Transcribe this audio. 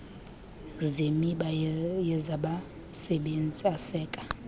zemiba yezabasebenzi aseka